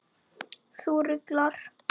Þú ruglar.